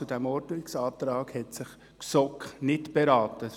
Zum Ordnungsantrag hat sich die GSoK nicht beraten.